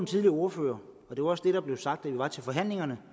tidligere ordfører og det var også det der blev sagt da vi var til forhandlingerne